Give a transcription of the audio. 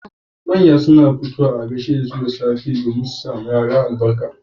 Manya suna fitowa waje dan ake gaishe dasu da safe saboda su sawa Yara albarka